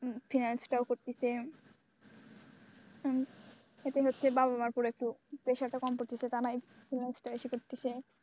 Finance করতেছে এতে হচ্ছে বাবা মা র উপর একটু প্রেশারটা কম পড়তেছে তা নয়